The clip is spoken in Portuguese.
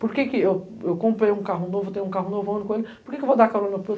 Por que eu eu comprei um carro novo, eu tenho um carro novo, eu andando com ele, por que eu vou dar carona para o